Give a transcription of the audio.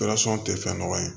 tɛ fɛn nɔgɔ ye